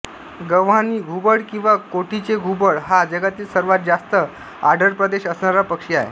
गव्हाणी घुबड किंवा कोठीचे घुबड हा जगातील सर्वात जास्त आढळप्रदेश असणारा पक्षी आहे